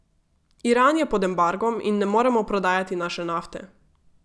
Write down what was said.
Iran je pod embargom in ne moremo prodajati naše nafte.